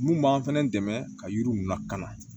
Mun b'an fɛnɛ dɛmɛ ka yiriw lakana